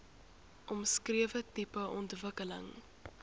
omskrewe tipe ontwikkeling